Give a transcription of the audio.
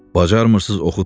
Bacarmırsınız oxutmayın.